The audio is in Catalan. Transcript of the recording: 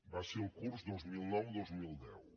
va ser el curs dos mil noudos mil deu